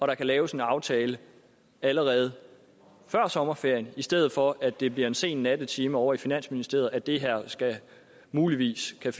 der kan laves en aftale allerede før sommerferien i stedet for at det bliver i en sen nattetime ovre i finansministeriet at det her muligvis kan